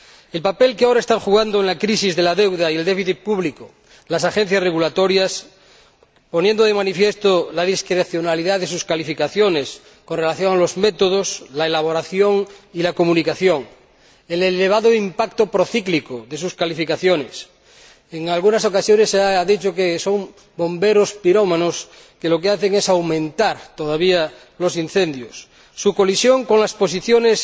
El papel que ahora están jugando en la crisis de la deuda y del déficit público las agencias regulatorias, poniendo de manifiesto la discrecionalidad de sus calificaciones con relación a los métodos, la elaboración y la comunicación, el elevado impacto procíclico de sus calificaciones —en algunas ocasiones se ha dicho que son bomberos pirómanos, que lo que hacen es avivar todavía los incendios su colisión con las posiciones